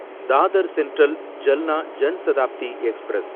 Dadar central Jalna Jan Shatabdi express